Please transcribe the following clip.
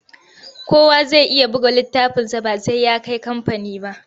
Kowa zai iya buga littafinsa ba sai ya kai kamfani ba.